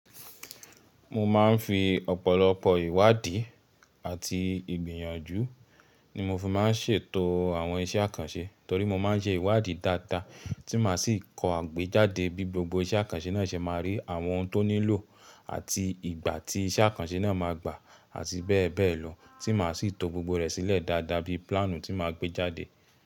Mo ma n fi ọ̀pọ̀lọpọ̀ ìwádìí àti ìgbìyànjú ni mo fi ma n ṣètò àwọn iṣẹ́ àkànṣe torí mo ma n ṣe ìwádìí dáadáa tí màá sì kọ́ àgbéjáde bí gbogbo iṣẹ́ àkànṣe náà ṣe máa rí àwọn tó nílò àti ìgbà tí iṣẹ́ àkànṣe náà máa gbà àti bẹ́ẹ̀ bẹ́ẹ̀ lọ tí màá sì to gbogbo rẹ̀ sílẹ̀ dáadáa bí plánù tí màá gbéjáde.